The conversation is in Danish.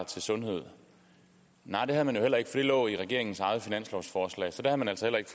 til sundhed nej det har man jo heller ikke for det lå i regeringens eget finanslovsforslag så der har man altså heller ikke